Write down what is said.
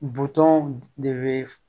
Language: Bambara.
Butɔn de be